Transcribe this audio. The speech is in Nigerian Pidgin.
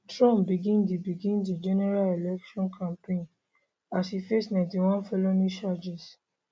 trump begin di begin di general election campaign as e face 91 felony charges